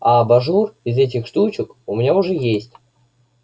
а абажур из этих штучек у меня уже есть